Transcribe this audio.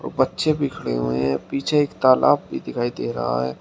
और बच्चे भी खड़े हुए हैं पीछे एक तालाब भी दिखाई दे रहा है।